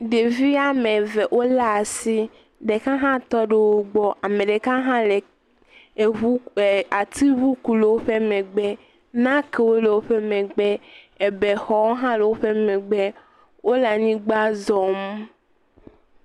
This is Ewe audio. Ɖevi am eve wolé asi. Ɖeka hã tɔ ɖe wo gbɔ, ame ɖeka gã le eŋu atiŋu ku le woƒe megbe. Nakewo le woƒe megbe, ebe xɔwo hã le woƒe megbe. Wole anyigba zɔm.